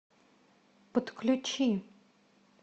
подключи